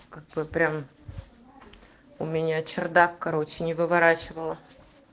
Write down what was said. как бы прям у меня чердак короче не выворачивало